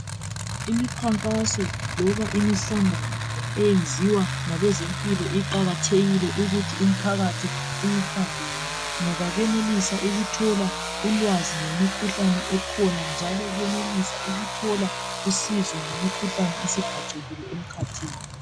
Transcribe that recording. Imikhankaso loba imihlangano eyenziwa ngabe zempilo. Iqakathekile ukuthi umphakathi uyihambe. Ngoba benelisa ukuthola ulwazi ngemikhuhlane ekhona. Njalo benelisa ukuthola usizo ngemikhuhlane esibhacekile emkhathini.